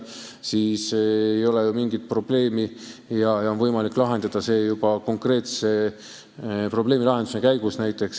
Siis ei ole ju mingit probleemi, siis on võimalik tegutseda juba konkreetse probleemi lahendamise käigus.